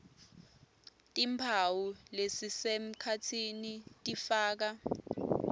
timphawu lesisemkhatsini tifaka